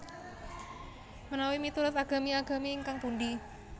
Menawi miturut agami agami ingkang pundi